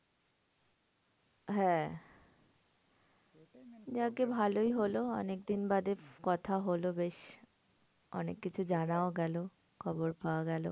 হ্যাঁ যাজ্ঞে ভালোই হলো অনেকদিন বাদে কথা হলো বেশ। অনেককিছু জানাও গেলো, খবর পাওয়া গেলো।